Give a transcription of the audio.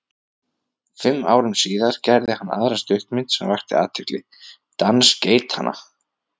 Fimm árum síðar gerði hann aðra stuttmynd sem vakti athygli, Dans geitanna.